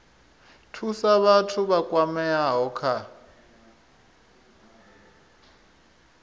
thusa vhathu vha kwameaho kha